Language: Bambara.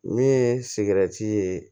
Min ye sigɛrɛti ye